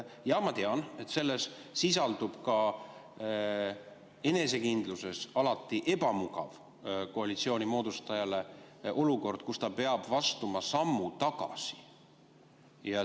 Jaa, ma tean, et selles sisaldub koalitsiooni moodustajale ka enesekindluse mõttes alati ebamugav olukord, kus ta peab astuma sammu tagasi.